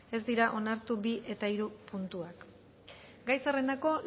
ez dira onartu bi eta hiru puntuak gai zerrendako